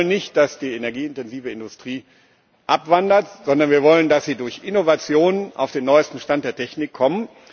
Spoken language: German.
Wir wollen nicht, dass die energieintensive Industrie abwandert, sondern wir wollen, dass sie durch Innovationen auf den neuesten Stand der Technik kommt.